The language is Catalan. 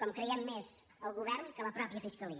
com creiem més al govern que a la mateixa fiscalia